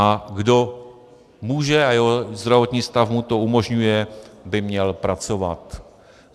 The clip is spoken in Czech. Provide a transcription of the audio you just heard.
A kdo může a jeho zdravotní stav mu to umožňuje, by měl pracovat.